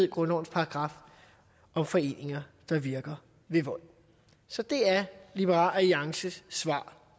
grundlovens paragraf om foreninger der virker ved vold så det er liberal alliances svar